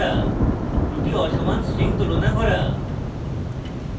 দুটি অসমান strings তুলনা করা